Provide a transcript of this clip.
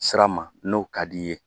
Sira ma n'o ka d'i ye